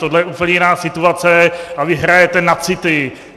Tohle je úplně jiná situace a vy hrajete na city.